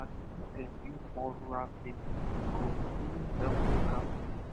normally if dem build more rural clinic e go really help local people